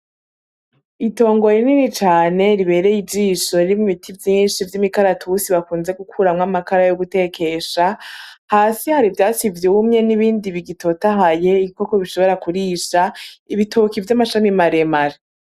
Itongo rinini cane ribereye ijisho ririmwo ibiti vyinshi vy'imikaratusi bakunze gukuramwo amakara yo gutekesha, hasi hari ivyatsi vyumye n'ibindi bigitotahaye ibikoko bishobora kurisha, ibitoke vy'amashami maremare.